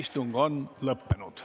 Istung on lõppenud.